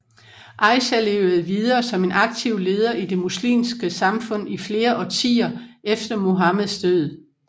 Aisha levede videre som en aktiv leder i det muslimske samfund i flere årtier efter Muhammeds død